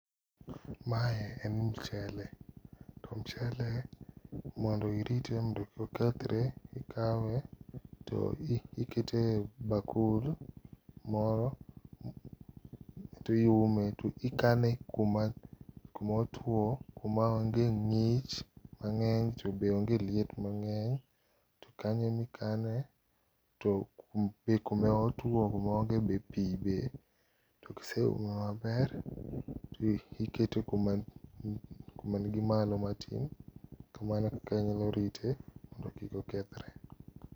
Mae en mchele, to mchele mondo irite mondo kik okethre, ikawe to ikete e bakul moro, tiume, to ikane kuma otwo, kuma onge ng'ich mang'eny to be onge liet mang'eny. To kanyo ema ikane, to be kuma otwo kuma onge be pii be. To kiseume maber, tikete kuma nigi malo matin. Mano ekaka anyalo rite mondo kik okethre.